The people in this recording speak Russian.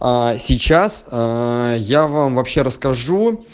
сейчас я вам вообще расскажу